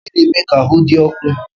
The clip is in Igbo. Uwe na-eme ka ahụ dị ọkụ